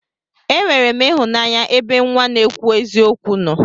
Enwerem ihụnanya ebe nwa n'ekwu eziokwu nno.